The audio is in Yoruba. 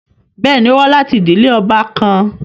Bẹẹni, o wa lati idile ọba kan